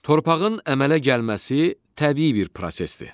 Torpağın əmələ gəlməsi təbii bir prosesdir.